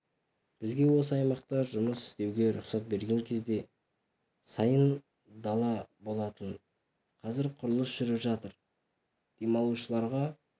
бізге осы аймақта жұмыс істеуге рұқсат берген кезде сайын дала болатын қазір құрылыс жүріп жатыр демалушыларға